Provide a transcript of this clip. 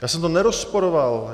Já jsem to nerozporoval.